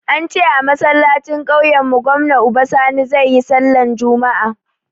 Ance a masallacin kauyen mu gwamna Uba Sani zai yi sallah juma'a